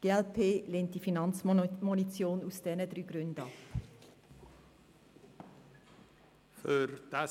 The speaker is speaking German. Die glp lehnt die Finanzmotion aus diesen drei Gründen ab.